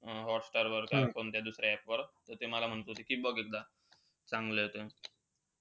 हॉटस्टारवर का कोणत्या दुसऱ्या app वर. त ते मला म्हणत होते कि बघ एकदा. चांगलंय ते.